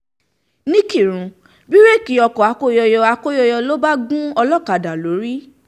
níkírùn biréèkì ọkọ̀ akóyọyọ akóyọyọ já ló bá gun olókàdá lórí